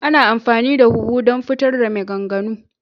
Ana amfani da huhu don fitar da maganganu.